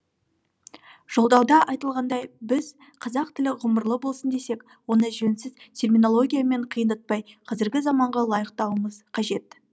жолдауда айтылғандай біз қазақ тілі ғұмырлы болсын десек оны жөнсіз терминологиямен қиындатпай қазіргі заманға лайықтауымыз қажет